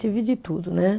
Tive de tudo, né?